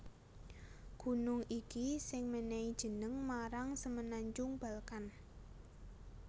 Gunung iki sing mènèhi jeneng marang Semenanjung Balkan